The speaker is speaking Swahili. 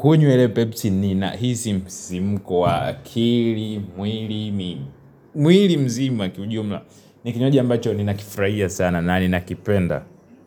kunywa ile Pepsi ni nahisi simuko wa akili mwili, mi mwili mzima ni kiujumla ambacho ni nakifuraia sana na ni nakipenda.